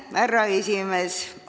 Härra esimees!